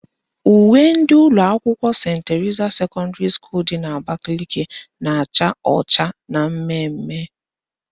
Uwe ndị ụlọakwụkwọ Senti Terisa sekọndịrị dị n'Abakaliki na-acha ọcha na mmemme